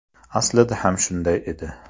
Aslida ham shunday edi.